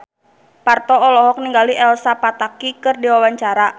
Parto olohok ningali Elsa Pataky keur diwawancara